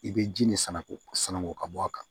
I bɛ ji nin san k'o san ko ka bɔ a kan